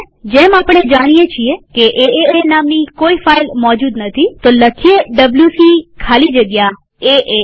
જેમ આપણે જાણીએ છીએ કે એએ નામની કોઈ ફાઈલ મોજુદ નથીwc ખાલી જગ્યા એએ લખીએ